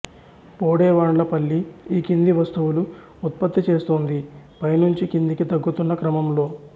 బోడెవాండ్లపల్లి ఈ కింది వస్తువులు ఉత్పత్తి చేస్తోంది పై నుంచి కిందికి తగ్గుతున్న క్రమంలో